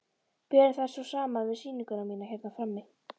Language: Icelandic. Berum þær svo saman við sýninguna mína hérna frammi.